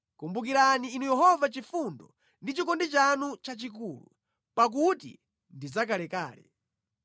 Kumbukirani Inu Yehova chifundo ndi chikondi chanu chachikulu, pakuti ndi zakalekale.